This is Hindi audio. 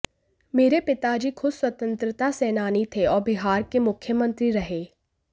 मेरे पिताजी खुद स्वतंत्रता सेनानी थे और बिहार के मुख्यमंत्री रहे